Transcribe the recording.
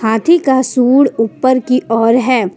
हाथी का सूंड ऊपर की ओर है।